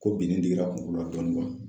Ko binni digira kuŋolo la dɔɔnin